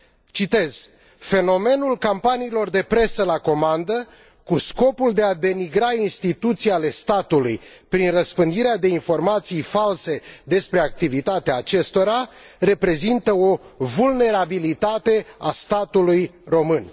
Citez Fenomenul campaniilor de presă la comandă, cu scopul de a denigra instituții ale statului, prin răspândirea de informații false, despre activitatea acestora, reprezintă o vulnerabilitate a statului român.